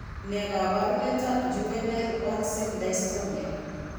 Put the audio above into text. Ne kaabarunetap Juvenile onset dystonia?